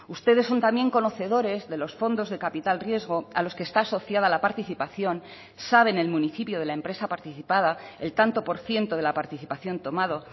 ustedes son también conocedores de los fondos de capital riesgo a los que está asociada la participación saben el municipio de la empresa participada el tanto por ciento de la participación tomado